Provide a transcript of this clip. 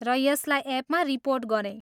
र यसलाई एपमा रिपोर्ट गरेँ।